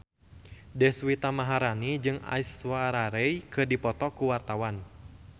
Deswita Maharani jeung Aishwarya Rai keur dipoto ku wartawan